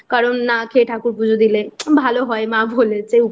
কারণ না খেয়ে ঠাকুর পুজো দিলে ভালো হয় মা বলেছে